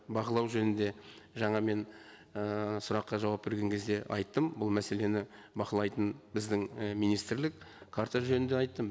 бақылау жөнінде жаңа мен і сұраққа жауап берген кезде айттым бұл мәселені бақылайтын біздің і министрлік карта жөнінде айттым